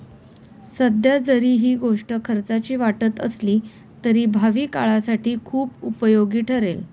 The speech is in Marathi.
सध्या जरी ही गोष्ट खर्चाची वाटत असली तरी भावी काळासाठी खुप उपयोगी ठरेल.